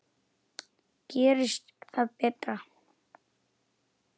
Gerist það betra.